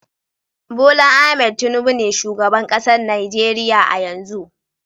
Bola Ahmed Tinubu be shugaban kasan Nijeriya a'yanzu.